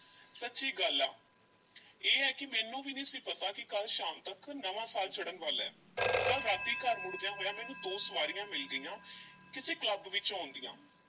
ਸੱਚੀ ਗੱਲ ਆ ਇਹ ਆ ਕਿ ਮੈਨੂੰ ਵੀ ਨਹੀਂ ਸੀ ਪਤਾ ਕਿ ਕੱਲ੍ਹ ਸ਼ਾਮ ਤੱਕ ਨਵਾਂ ਸਾਲ ਚੜ੍ਹਨ ਵਾਲਾ ਐ, ਕੱਲ੍ਹ ਰਾਤੀਂ ਘਰ ਮੁੜਦਿਆਂ ਹੋਇਆਂ ਮੈਨੂੰ ਦੋ ਸਵਾਰੀਆਂ ਮਿਲ ਗਈਆਂ ਕਿਸੇ ਕਲੱਬ ਵਿੱਚੋਂ ਆਉਂਦੀਆਂ।